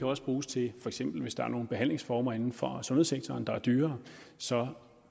også bruges til hvis der er nogle behandlingsformer inden for sundhedssektoren der er dyrere så